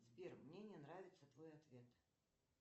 сбер мне не нравится твой ответ